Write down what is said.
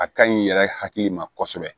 A ka ɲi i yɛrɛ hakili ma kosɛbɛ